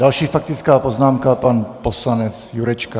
Další faktická poznámka, pan poslanec Jurečka.